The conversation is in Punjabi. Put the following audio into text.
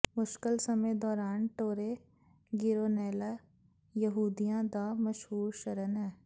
ਮੁਸ਼ਕਲ ਸਮੇਂ ਦੌਰਾਨ ਟੋਰੇ ਗਿਰੋਨੇਲਾ ਯਹੂਦੀਆਂ ਦਾ ਮਸ਼ਹੂਰ ਸ਼ਰਨ ਹੈ